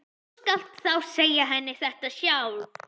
Þú skalt þá segja henni þetta sjálf!